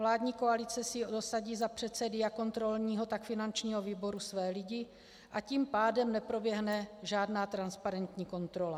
Vládní koalice si dosadí za předsedy jak kontrolního, tak finančního výboru své lidi, a tím pádem neproběhne žádná transparentní kontrola.